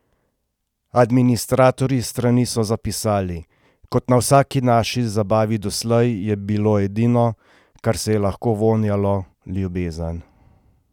Administratorji strani so zapisali: "Kot na vsaki naši zabavi doslej, je bilo edino, kar se je lahko vonjalo, ljubezen.